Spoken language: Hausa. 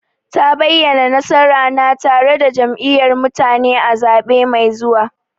Ta bayyana, nasara na tare da Jam'iyyar mutane a zaɓe mai zuwa.